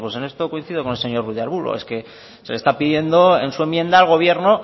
en esto coincido con el señor ruiz de arbulo es que se le está pidiendo en su enmienda al gobierno